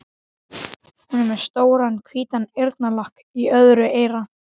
Hún er með stóran hvítan eyrnalokk í öðru eyra.